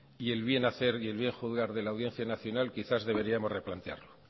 el bien hacer y el bien juzgar de la audiencia nacional quizás deberíamos replantearlo